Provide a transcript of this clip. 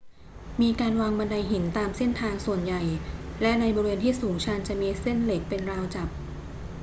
มีการวางบันไดหินตามเส้นทางส่วนใหญ่ และในบริเวณที่สูงชันจะมีเส้นเหล็กเป็นราวจับ